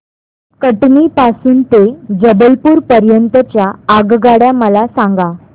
कटनी पासून ते जबलपूर पर्यंत च्या आगगाड्या मला सांगा